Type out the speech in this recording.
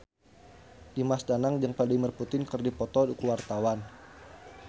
Dimas Danang jeung Vladimir Putin keur dipoto ku wartawan